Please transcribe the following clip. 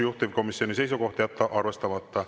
Juhtivkomisjoni seisukoht on jätta arvestamata.